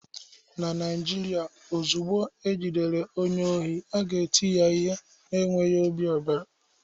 Na Naijiria, ozugbo ejidere onye ohi, a ga-eti ya ihe na-enweghị obi ebere